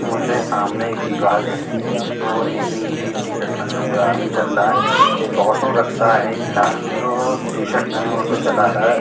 मुझे सामने एक दीवाल दिख रही है और एक नीली टी-शर्ट पहने हुए आदमी चल रहा है एक ऑटो रिक्शा है एक लाल टी-शर्ट पहने हुआ ऑटो चला रहा है।